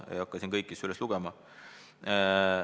Ma ei hakka siin kõiki üles lugema.